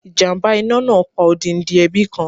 Ìjàmbá iná náà pa odindi ẹbí kan.